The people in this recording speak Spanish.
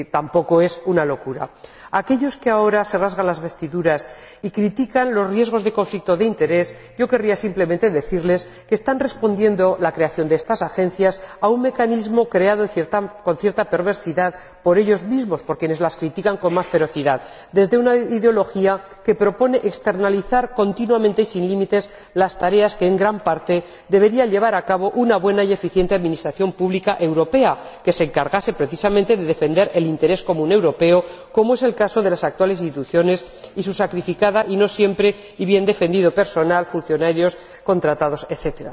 Es decir, tampoco es una locura. A aquellos que ahora se rasgan las vestiduras y critican los riesgos de conflicto de interés yo querría simplemente decirles que la creación de estas Agencias responde a un mecanismo creado con cierta perversidad por ellos mismos, por quienes las critican con más ferocidad, desde una ideología que propone externalizar continuamente y sin límites las tareas que en gran parte debería llevar a cabo una buena y eficiente administración pública europea que se encargase precisamente de defender el interés común europeo, como es el caso de las actuales instituciones y su sacrificado y no siempre bien defendido personal funcionarios, contratados, etc.